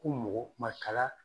Ko mɔgɔ makala